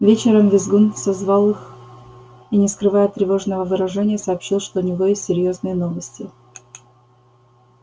вечером визгун созвал их и не скрывая тревожного выражения сообщил что у него есть серьёзные новости